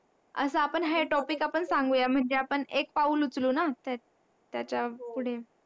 असा है आपण सांगूया म्हणजे आपण एक पाऊल उचलू न ते त्याचा पुढे